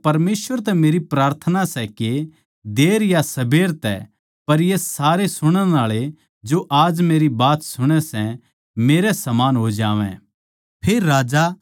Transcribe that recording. पौलुस बोल्या परमेसवर तै मेरी प्रार्थना सै के देर या सबेर तै पर ये सारे सुणण आळे जो आज मेरी बात सुणै सै वे मेरै समान हो जावैं